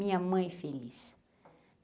Minha mãe feliz.